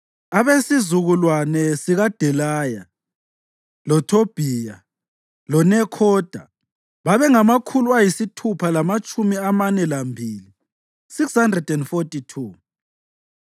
abesizukulwane sikaDelaya, loThobhiya loNekhoda babengamakhulu ayisithupha lamatshumi amane lambili (642).